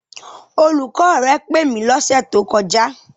Olùkọ́ rẹ pè mí lọ́sẹ̀ tó kọjá.